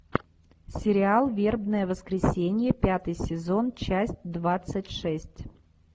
сериал вербное воскресенье пятый сезон часть двадцать шесть